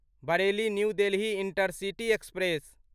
Bareilly new Delhi intercity express